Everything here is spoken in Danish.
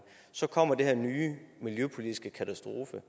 så kommer den her nye miljøpolitiske katastrofe